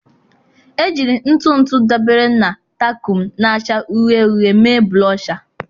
Ejiri ntụ ntụ dabere na takum na-acha uhie uhie mee Blosha.